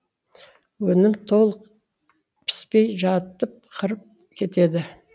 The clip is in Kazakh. өнім толық піспей жатып қырып кетеді